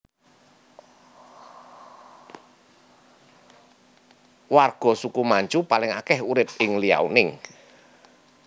Warga suku Manchu paling akeh urip ing Liaoning